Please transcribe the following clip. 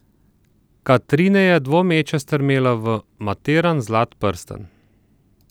Katrine je dvomeče strmela v matiran zlat prstan.